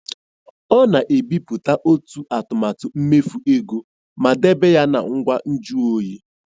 Ọ na-ebipụta otu atụmatụ mmefu ego ma debe ya na ngwa nju oyi.